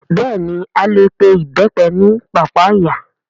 Bẹ́ẹ̀ni a lè pe Ìbẹ́pẹ ní pàpáyà